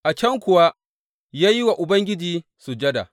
A can kuwa ya yi wa Ubangiji sujada.